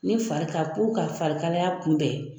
Ne fari ka ka farikalaya kunbɛn